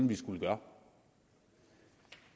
vi skulle gøre